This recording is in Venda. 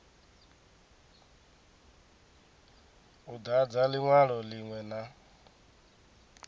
u dadza linwalo linwe na